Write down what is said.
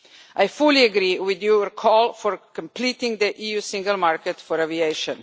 I fully agree with your call for completing the EU single market for aviation.